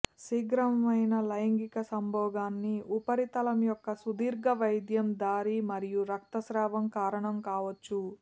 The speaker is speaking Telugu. శీఘ్రమైన లైంగిక సంభోగాన్ని ఉపరితలం యొక్క సుదీర్ఘ వైద్యం దారి మరియు రక్తస్రావం కారణం కావచ్చు